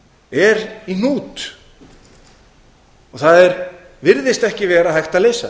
er í hnút það virðist ekki vera hægt